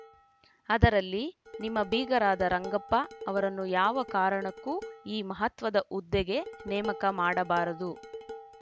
ಅದರಲ್ಲಿ ನಿಮ್ಮ ಬೀಗರಾದ ರಂಗಪ್ಪ ಅವರನ್ನು ಯಾವ ಕಾರಣಕ್ಕೂ ಈ ಮಹತ್ವದ ಹುದ್ದೆಗೆ ನೇಮಕ ಮಾಡಬಾರದು